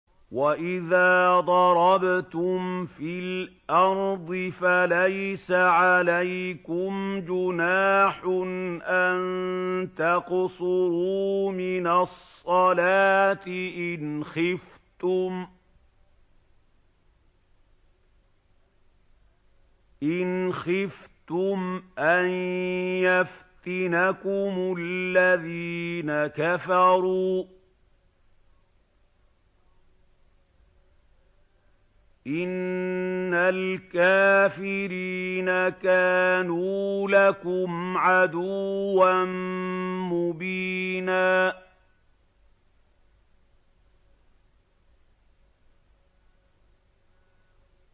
وَإِذَا ضَرَبْتُمْ فِي الْأَرْضِ فَلَيْسَ عَلَيْكُمْ جُنَاحٌ أَن تَقْصُرُوا مِنَ الصَّلَاةِ إِنْ خِفْتُمْ أَن يَفْتِنَكُمُ الَّذِينَ كَفَرُوا ۚ إِنَّ الْكَافِرِينَ كَانُوا لَكُمْ عَدُوًّا مُّبِينًا